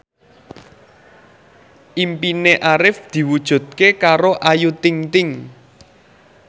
impine Arif diwujudke karo Ayu Ting ting